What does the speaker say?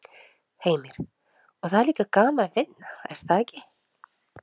Heimir: Og það er líka gaman að vinna er það ekki?